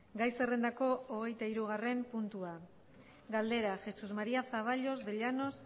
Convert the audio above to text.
gai zerrendako hogeitahirugarren puntua galdera jesús maría zaballos de llanos